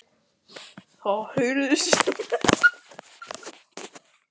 Það heyrast smellir í ilskónum sem slást upp í hælana.